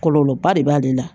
Kɔlɔlɔba de b'ale la